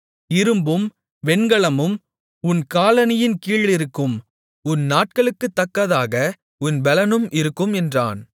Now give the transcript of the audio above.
இரும்பும் வெண்கலமும் உன் காலணியின் கீழிருக்கும் உன் நாட்களுக்குத்தக்கதாக உன் பெலனும் இருக்கும் என்றான்